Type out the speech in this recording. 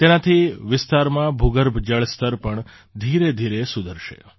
તેનાથી વિસ્તારમાં ભૂગર્ભ જળ સ્તર પણ ધીરેધીરે સુધરશે